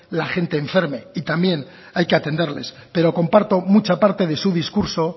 la gente enferme y también hay que atenderles pero comparto mucha parte de su discurso